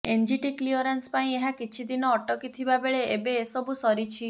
NGT clearance ପାଇଁ ଏହା କିଛିଦିନ ଅଟକିଥିବା ବେଳେ ଏବେ ଏସବୁ ସରିଛି